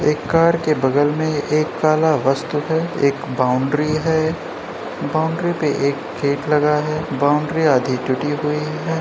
एक कार के बगल में एक कला वस्तु है । एक बाउंड्री है । बाउंड्री पे एक गेट लगा है । बाउंड्री आधी टूटी हुई है ।